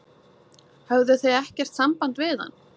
Höfðuð þið ekkert samband við hann?